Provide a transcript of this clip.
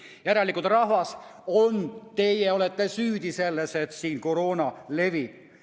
Järelikult, rahvas, teie olete süüdi selles, et siin koroona levib.